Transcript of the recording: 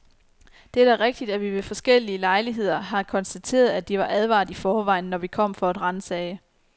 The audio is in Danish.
Det er da rigtigt, at vi ved forskellig lejligheder har konstateret, at de var advaret i forvejen, når vi kom for at ransage.